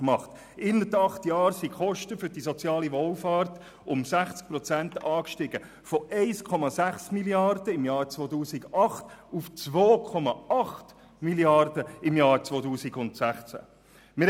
Innerhalb von acht Jahren sind die Kosten für die soziale Wohlfahrt um 60 Prozent gestiegen, von 1,6 Mrd. Franken im Jahr 2008 auf 2,8 Mrd. Franken im Jahr 2016.